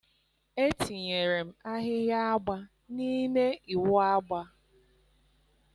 etinyere m ahịhịa agba n'ime ịwụ agba